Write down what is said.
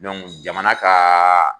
Dɔnku jamana kaa